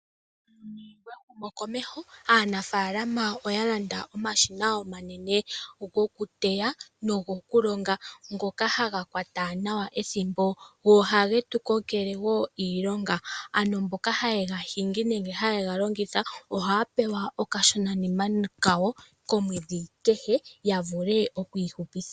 Muuyuni wehumokomeho aanafaalama oya landa omashina omanene gokuteya nogo ku longa ngoka haga kwata nawa ethimbo, go ohage tu kongele wo iilonga. Mboka haye ga hingi nenge haye ga longitha ohaya pewa okashonanima kawo komwedhi kehe ya vule oku ihupiitha.